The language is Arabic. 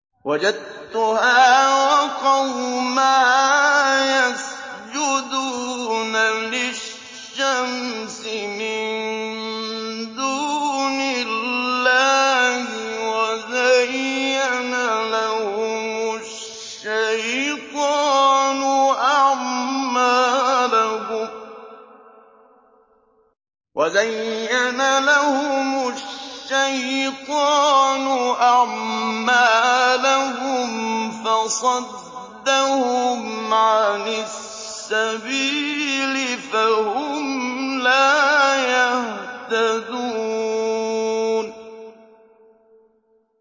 وَجَدتُّهَا وَقَوْمَهَا يَسْجُدُونَ لِلشَّمْسِ مِن دُونِ اللَّهِ وَزَيَّنَ لَهُمُ الشَّيْطَانُ أَعْمَالَهُمْ فَصَدَّهُمْ عَنِ السَّبِيلِ فَهُمْ لَا يَهْتَدُونَ